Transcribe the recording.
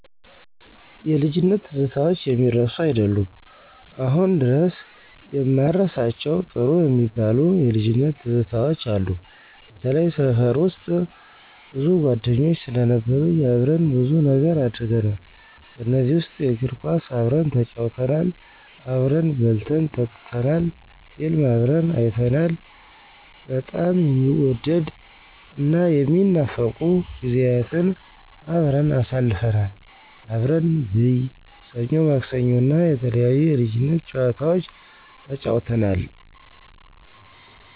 የልጅነት ትዝታዎች የሚረሱ አይደሉም። አሁን ድረስ የማረሳቸው ጥሩ የሚባሉ የልጅነት ትዝታዎች አሉ፤ በተላይ ሰፈር ውስጥ። ሰፈር ውስጥ ብዙ ጓደኞች ስለነበሩኝ አብረን ብዙ ነገር አድርገናል። ከእነዚ ውስጥ የእግር ኳስ አብረን ተጫውተናል፤ አብረን በልተን ጠጥተናል፤ ፊልም አብረን አይተናል። በጣም የሚወደድ እና የሚናፈቁ ጊዜያትን አብረን አስልፈናል። አብረን ብይ፣ ሰኞ ማክሰኞ እና የተለያዩ የለጅነት ጨዋታወች ተጫውተናል።